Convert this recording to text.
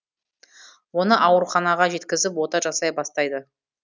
оны ауруханаға жеткізіп ота жасай бастайды